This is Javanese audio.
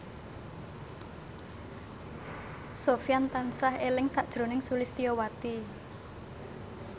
Sofyan tansah eling sakjroning Sulistyowati